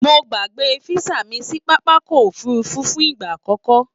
Mo gbàgbé físà mi sí pápákọ̀ òfurufú fún ìgbà àkọ́kọ́